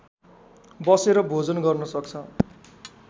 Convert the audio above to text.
बसेर भोजन गर्न सक्छ